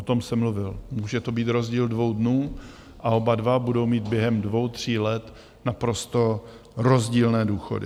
O tom jsem mluvil - může to být rozdíl dvou dnů a oba dva budou mít během dvou, tří let naprosto rozdílné důchody.